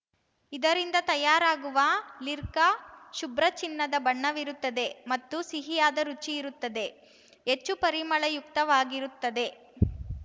ಇದರಿಂದ ತಯಾರಾಗುವ ಲಿರ್ಕ್ಕ ಶುಭ್ರ ಚಿನ್ನದ ಬಣ್ಣವಿರುತ್ತದೆ ಮತ್ತು ಸಿಹಿಯಾದ ರುಚಿಯಿರುತ್ತದೆ ಹೆಚ್ಚು ಪರಿಮಳಯುಕ್ತವಾಗಿರುತ್ತದೆ